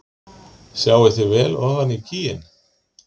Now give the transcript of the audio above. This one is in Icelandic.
Sjáið þið vel ofan í gíginn?